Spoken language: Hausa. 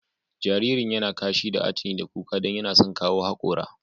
Jaririn ya na kashi da atuni da kuka don yana son kawo haƙora.